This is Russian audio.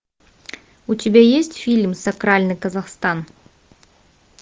у тебя есть фильм сакральный казахстан